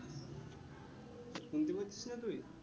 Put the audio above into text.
শুনতে পাচ্ছিস না তুই